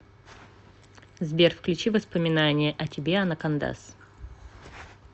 сбер включи воспоминания о тебе анакондаз